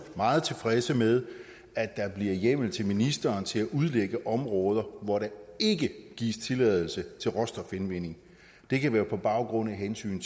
meget tilfredse med at der bliver hjemmel til ministeren til at udlægge områder hvor der ikke gives tilladelse til råstofindvinding det kan være på baggrund af hensyn